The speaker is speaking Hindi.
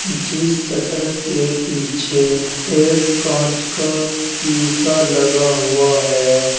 जिस शटर के पीछे एक कांच का शीशा लगा हुआ है।